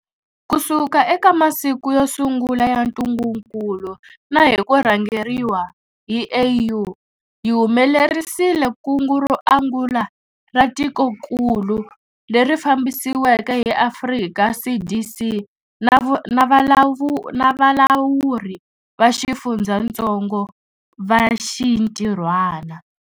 Kusuka eka masiku yo sungula ya ntungukulu na hi ku rhangeriwa hi AU, hi humelerisile kungu ro angula ra tikokulu, leri fambisiweke hi Afrika CDC na valawuri va xifundzatsongo va xintirhwana.